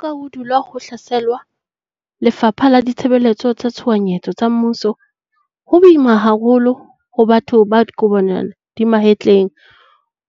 Ka ha ho dulwa ho hlaselwa Lefapha la Ditshebeletso tsa Tshohanyetso tsa mmuso, ho boima haholo ho batho ba kojwana dimahetleng